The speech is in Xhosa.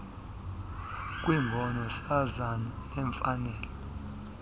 kwicbnrm sasaza imfanelo